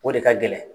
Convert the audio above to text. O de ka gɛlɛn